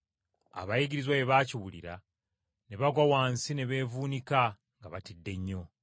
Abayigirizwa bwe baakiwulira ne bagwa wansi ne beevuunika nga batidde nnyo.